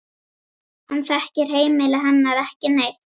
Hann þekkir heimili hennar ekki neitt.